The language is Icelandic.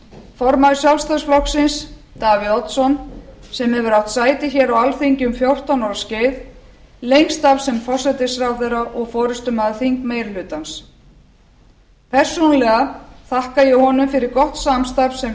formaður sjálfstæðisflokksins davíð oddsson sem hefur átt sæti hér á alþingi um fjórtán ára skeið lengst af sem forsætisráðherra og forustumaður þingmeirihlutans persónulega þakka ég honum fyrir gott samstarf sem